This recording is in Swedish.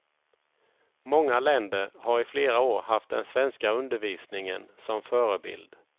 Många länder har i flera år haft den svenska undervisningen som förebild.